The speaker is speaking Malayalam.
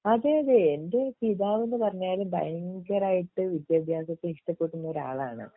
അതെയതെ എൻ്റെ പിതാവെന്ന് പറഞ്ഞാല് ഭയങ്കരായിട്ട് വിദ്യഭ്യാസത്തെ ഇഷ്ട്ടപ്പെടുന്ന ഒരാളാണ്